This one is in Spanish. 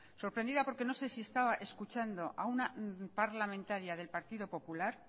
sorprendida porque no sé si estaba escuchando a una parlamentaria del partido popular